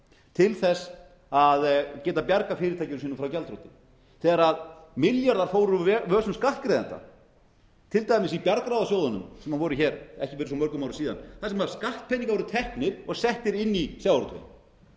til þess að geta bjargað fyrirtækjum frá gjaldþroti þegar milljarðar fóru úr vösum skattgreiðenda til dæmis í bjargráðasjóðunum sem voru hér fyrir ekki svo mörgum árum síðan þar sem skattpeningar voru teknir og settir inn í sjávarútveginn þarna